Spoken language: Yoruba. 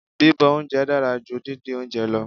Bíbọ oúnjẹ dára ju díndín oúnjẹ lọ.